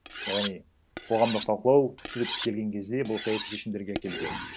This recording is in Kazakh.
яғни қоғамдық талқылау түптеп келген кезде бұл саяси шешімдерге әкелу керек